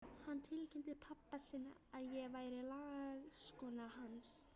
Hann tilkynnti pabba sínum að ég væri lagskona hans!